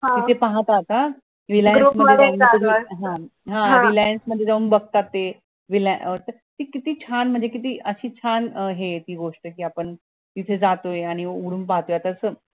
इथे पहा काय reliance हा reliance मध्ये जाऊन बगतात ते ती किती छान म्हणजे किती अशी छन ये ती गोष्ट कि आपण तिथे जातोय आणि उगडून पाहतोय